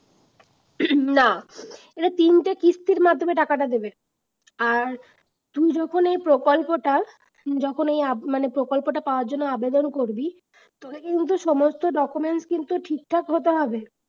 না এই তিনটে কিস্তির মাধ্যমে টাকাটা দেবে। আর তুই যখন এই প্রকল্পটা যখন এই আব মানে এই প্রকল্পটা পাওয়ার জন্যে আবেদন করবি তোকে কিন্তু সমস্ত documents কিন্তু ঠিক ঠাক হতে হবে